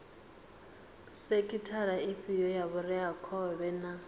sekhithara ifhio ya vhureakhovhe na